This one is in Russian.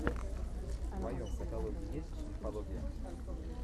в твоем каталоге есть мифология